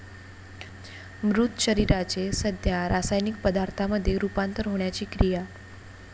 मृत शरीराचे सध्या रासायनिक पदार्थामध्ये रूपांतर होण्याची क्रिया.